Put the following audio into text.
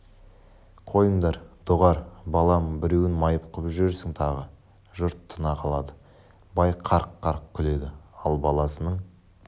қойыңдар доғар балам біреуін майып қып жүрерсің тағы жұрт тына қалады бай қарқ-қарқ күледі ал баласының